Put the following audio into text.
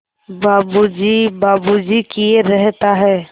बाबू जी बाबू जी किए रहता है